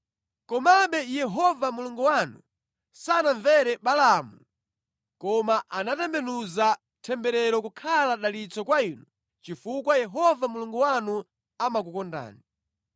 Komabe Yehova Mulungu wanu sanamvere Balaamu koma anatembenuza temberero kukhala dalitso kwa inu chifukwa Yehova Mulungu wanu amakukondani.